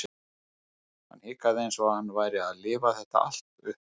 Hann hikaði eins og hann væri að lifa þetta allt upp aftur.